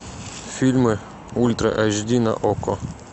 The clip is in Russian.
фильмы ультра эйч ди на окко